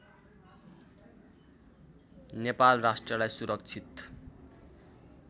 नेपाल राष्ट्रलाई सुरक्षित